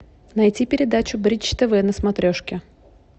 найти передачу бридж тв на смотрешке